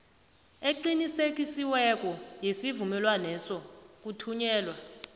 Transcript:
eqinisekisiweko yesivumelwaneso kuthunyelwa